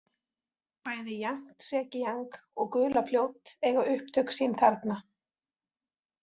Bæði Jangtsekíang og Gulafljót eiga upptök sín þarna.